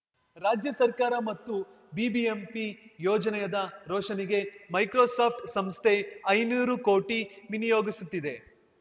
ರಾಜ್ಯ ಸರ್ಕಾರ ಮತ್ತು ಬಿಬಿಎಂಪಿ ಯೋಜನೆಯಾದ ರೋಶನಿಗೆ ಮೈಕ್ರೋಸಾಫ್ಟ್‌ ಸಂಸ್ಥೆ ಐನೂರು ಕೋಟಿ ವಿನಿಯೋಗಿಸುತ್ತಿದೆ